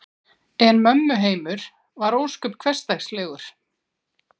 En mömmu heimur var ósköp hversdagslegur.